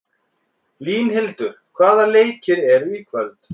Línhildur, hvaða leikir eru í kvöld?